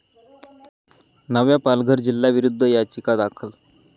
नव्या पालघर जिल्ह्याविरोधात याचिका दाखल